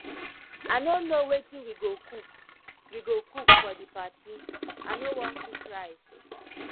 i no know wetin we go cook we go cook for the party i no wan cook rice